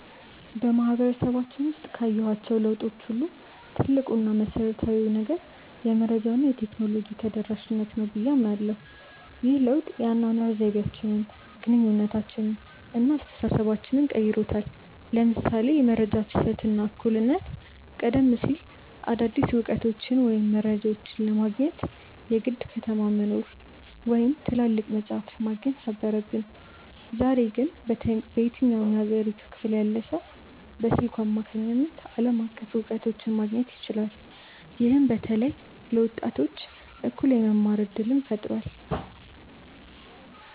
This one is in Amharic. በማህበረሰባችን ውስጥ ካየኋቸው ለውጦች ሁሉ ትልቁ እና መሰረታዊው ነገር "የመረጃ እና የቴክኖሎጂ ተደራሽነት" ነው ብዬ አምናለሁ። ይህ ለውጥ የአኗኗር ዘይቤያችንን፣ ግንኙነታችንን እና አስተሳሰባችንን ቀይሮታል ለምሳሌ የመረጃ ፍሰት እና እኩልነት ቀደም ሲል አዳዲስ እውቀቶችን ወይም መረጃዎችን ለማግኘት የግድ ከተማ መኖር ወይም ትላልቅ መጻሕፍት ማግኘት ነበረብን። ዛሬ ግን በየትኛውም የሀገሪቱ ክፍል ያለ ሰው በስልኩ አማካኝነት ዓለም አቀፍ እውቀቶችን ማግኘት ይችላል። ይህም በተለይ ለወጣቶች እኩል የመማር እድልን ፈጥሯል።